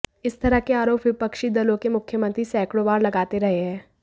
इस तरह के आरोप विपक्षी दलों के मुख्यमंत्री सैकड़ों बार लगाते रहे हैं